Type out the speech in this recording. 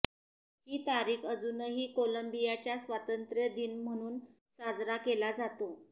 ही तारीख अजूनही कोलंबियाच्या स्वातंत्र्य दिन म्हणून साजरा केला जातो